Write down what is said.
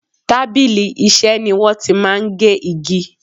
Tábìlì Iṣẹ́ ni wọ́n ti máa ń gé igi